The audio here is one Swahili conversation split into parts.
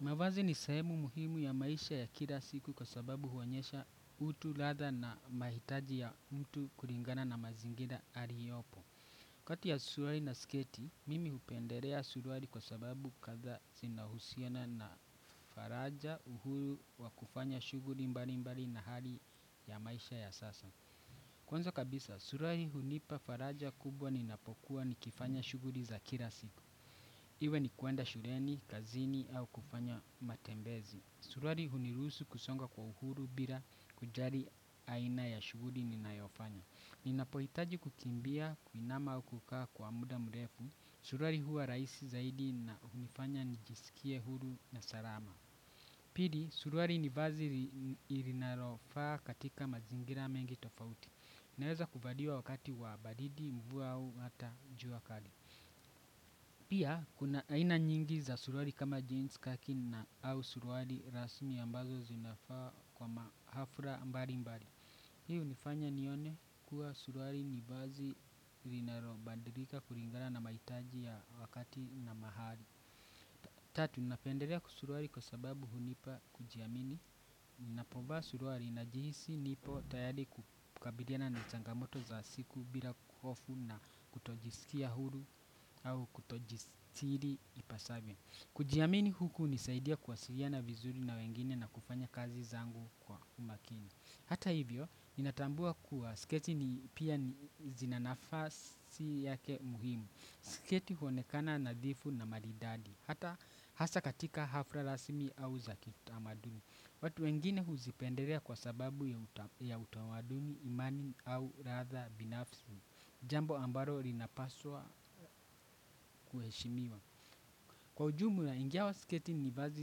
Mavazi ni sehemu muhimu ya maisha ya kila siku kwa sababu huonyesha utu latha na mahitaji ya mtu kuringana na mazingira ariyopo. Kati ya suruari na sketi, mimi hupenderea suruari kwa sababu kadhaa zina husiana na faraja uhuru wa kufanya shuguri mbali mbali na hali ya maisha ya sasa. Kwanza kabisa, suruari hunipa faraja kubwa ni napokuwa ni kifanya shuguri za kila siku. Iwe ni kuenda shureni, kazini au kufanya matembezi. Suruari hunirusu kusonga kwa uhuru bila kujari aina ya shuguri ninayofanya. Ninapoitaji kukimbia kuinama au kukaa kwa muda mrefu, suruari huwa raisi zaidi na hufanya nijisikie huru na sarama. Pili suruari ni vazi linarofaa katika mazingira mengi tofauti. Inaweza kuvaliwa wakati wa baridi, mvua au hata jua kali. Pia, kuna aina nyingi za suruari kama jeans, khaki au suruari rasmi ambazo zinafaa kwa mahafla mbali mbali. Hii hunifanya nione kuwa suruari ni bazi rinalo bandirika kuringana na maitaji ya wakati na mahali. Tatu napenderea kusuruari kwa sababu hunipa kujiamini. Ninapovaa suruari najihisi nipo tayari kukabiliana na changamoto za siku. Bila kuhofu na kutojisikia hulu au kutojistiri ipasavyo. Kujiamini huku hunisaidia kuwasiliana vizuri na wengine na kufanya kazi zangu kwa umakini. Hata hivyo, ninatambua kuwa sketi pia zina nafasi yake muhimu. Sketi huonekana nadhifu na maridadi. Hasa katika hafla rasmi au za kiutamaduni. Watu wengine huzipendelea kwa sababu ya utamaduni, imani au radha binafsi, jambo ambalo linapaswa kuheshimiwa. Kwa ujumu ya injawa sketi ni vazi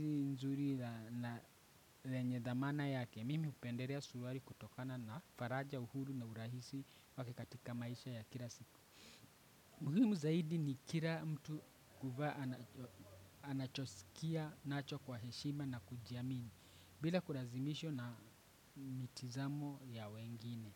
nzuri na lenye dhamana yake mimi hupenderea suruari kutokana na faraja uhuru na urahisi wake katika maisha ya kila siku. Muhimu zaidi ni kira mtu kuvaa anachosikia nacho kwa heshima na kujiamini. Bila kurazimishwa na mitizamo ya wengine.